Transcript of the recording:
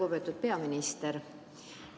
Lugupeetud peaminister!